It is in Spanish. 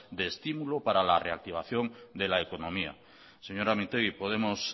de estímulo para la reactivación de la economía señora mintegi podemos